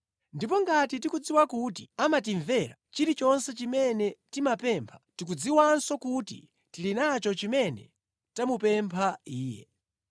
Ndipo ngati tikudziwa kuti amatimvera, chilichonse chimene timapempha, tikudziwanso kuti tili nacho chimene tamupempha Iye.